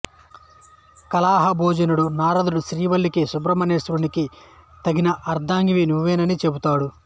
కలహభోజనుడు నారదుడు శ్రీవల్లికి సుబ్రహ్మణ్యేశ్వరునికి తగిన అర్దాంగినవి నువ్వేనని చెబుతాడు